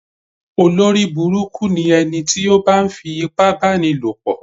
Olórí burúkú ni ẹniti o ba ń fi ipá bá ní lò pọ̀.